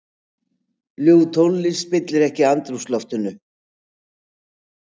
Ljúf tónlist spillir ekki andrúmsloftinu.